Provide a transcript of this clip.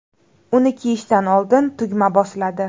Uni kiyishdan oldin tugma bosiladi.